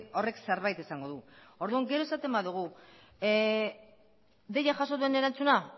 horrek zerbait esango du orduan gero esaten badugu deia jaso den erantzuna